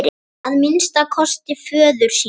Að minnsta kosti föður sínum.